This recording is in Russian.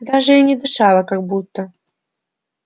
даже и не дышала как будто